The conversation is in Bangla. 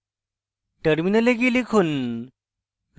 terminal গিয়ে লিখুন